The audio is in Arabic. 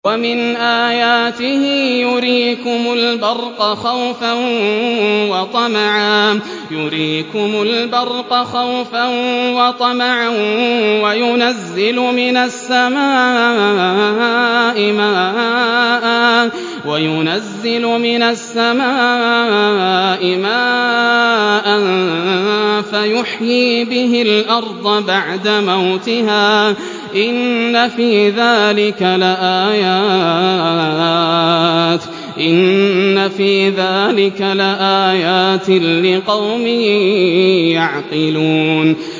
وَمِنْ آيَاتِهِ يُرِيكُمُ الْبَرْقَ خَوْفًا وَطَمَعًا وَيُنَزِّلُ مِنَ السَّمَاءِ مَاءً فَيُحْيِي بِهِ الْأَرْضَ بَعْدَ مَوْتِهَا ۚ إِنَّ فِي ذَٰلِكَ لَآيَاتٍ لِّقَوْمٍ يَعْقِلُونَ